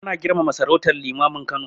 Ana girmama sarautar Limamin Kano